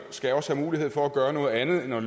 også skal have mulighed for at gøre noget andet end at